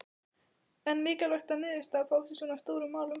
En mikilvægt að niðurstaða fáist í svona stórum málum?